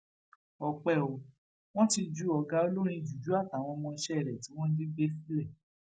ọpẹ o wọn ti ju ọgá olórin juju àtàwọn ọmọọṣẹ rẹ tí wọn jí gbé sílẹ